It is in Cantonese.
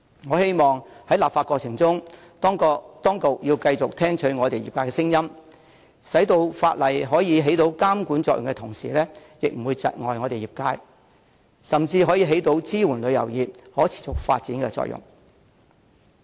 我希望在立法過程中，當局要繼續聽取業界聲音，使法例在得以發揮監管作用的同時，又不會窒礙業界發展，甚至可收支援旅遊業可持續發展之效。